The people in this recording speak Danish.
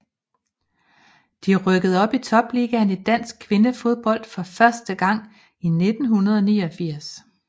De rykkede op i topligaen i dansk kvindefodbold for første gang i 1989